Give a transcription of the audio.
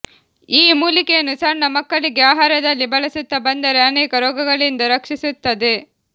ಈ ಮೂಲಿಕೆಯನ್ನು ಸಣ್ಣ ಮಕ್ಕಳಿಗೆ ಆಹಾರದಲ್ಲಿ ಬಳಸುತ್ತಾ ಬಂದರೆ ಅನೇಕ ರೋಗಗಳಿಂದ ರಕ್ಷಿಸುತ್ತದೆ